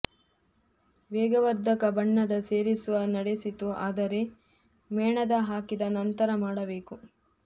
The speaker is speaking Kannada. ವೇಗವರ್ಧಕ ಬಣ್ಣದ ಸೇರಿಸುವ ನಡೆಸಿತು ಆದರೆ ಮೇಣದ ಹಾಕಿದ ನಂತರ ಮಾಡಬೇಕು